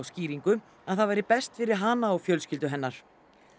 skýringu að það væri best fyrir hana og fjölskyldu hennar